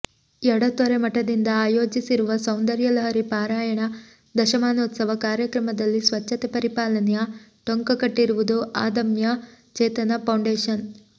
ಎಡತೊರೆ ಮಠದಿಂದ ಆಯೋಜಿಸಿರುವ ಸೌಂದರ್ಯ ಲಹರಿ ಪಾರಾಯಣ ದಶಮಾನೋತ್ಸವ ಕಾರ್ಯಕ್ರಮದಲ್ಲಿ ಸ್ವಚ್ಛತೆ ಪರಿಪಾಲನೆಯ ಟೊಂಕ ಕಟ್ಟಿರುವುದು ಅದಮ್ಯ ಚೇತನ ಫೌಂಡೇಷನ್